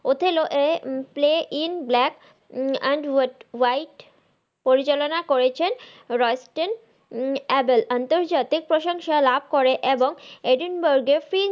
Othello এর play in black and white পরিচালনা করেছেন রয়েস্টেন অ্যাভেল আন্তর্জাতিক প্রশংসা লাভ করে এবং এডিনবার্গের